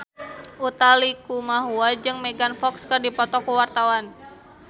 Utha Likumahua jeung Megan Fox keur dipoto ku wartawan